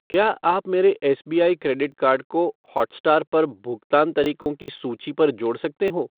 क्या आप मेरे एसबीआई क्रेडिट कार्ड को हॉटस्टार पर भुगतान तरीको की सूची पर जोड़ सकते हो ?